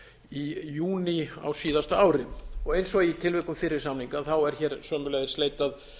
í júní á síðasta ári eins og í tilvikum fyrri samninga er hér sömuleiðis leitað